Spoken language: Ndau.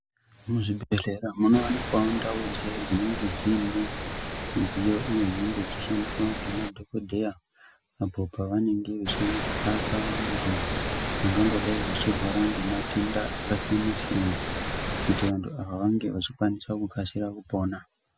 Muzvibhedhlera munowanikwawo ndau dziya dzinenge dziine midziyo iyo inenge ichishandiswa ngemadhokodheya apo pavanenge vechirapa vantu vangangodai vachirwara ngematenda akasiyana siyana kuti vantu ava vange vachikwanisa kukasira kupona.